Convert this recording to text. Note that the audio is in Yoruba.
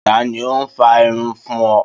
Ta ni ó ń fá irun fún ọ?